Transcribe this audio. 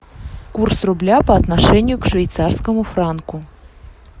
курс рубля по отношению к швейцарскому франку